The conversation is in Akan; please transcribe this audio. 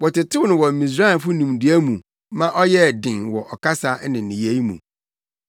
Wɔtetew no wɔ Misraimfo nimdeɛ mu ma ɔyɛɛ den wɔ ɔkasa ne nneyɛe mu.